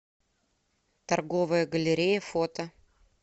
торговая галерея фото